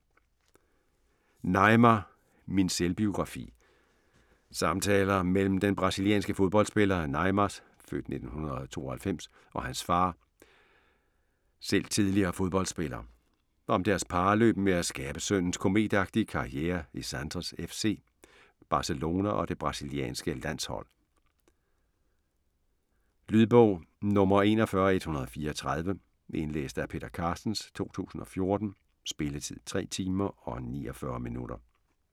Neymar - min selvbiografi Samtaler mellem den brasilianske fodboldspiller Neymars (f. 1992) og hans far, selv tidligere fodboldspiller. Om deres parløb med at skabe sønnens kometagtige karriere i Santos FC, Barcelona og det brasilianske landshold. Lydbog 41134 Indlæst af Peter Carstens, 2014. Spilletid: 3 timer, 49 minutter.